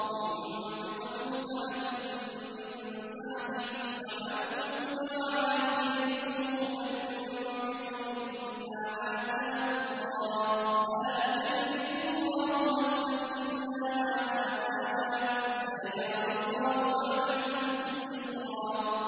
لِيُنفِقْ ذُو سَعَةٍ مِّن سَعَتِهِ ۖ وَمَن قُدِرَ عَلَيْهِ رِزْقُهُ فَلْيُنفِقْ مِمَّا آتَاهُ اللَّهُ ۚ لَا يُكَلِّفُ اللَّهُ نَفْسًا إِلَّا مَا آتَاهَا ۚ سَيَجْعَلُ اللَّهُ بَعْدَ عُسْرٍ يُسْرًا